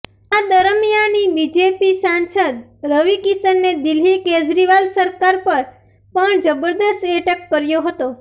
આ દરમિયાની બીજેપી સાંસદ રવિ કિશને દિલ્હી કેજરીવાલ સરકાર પર પણ જબરદસ્ત એટેક કર્યો હતો